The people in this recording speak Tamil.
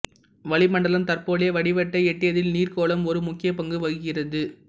வளிமண்டலம் தற்போதைய வடிவத்தை எட்டியதில் நீர்கோளம் ஒரு முக்கிய பங்கு வகிக்கிறது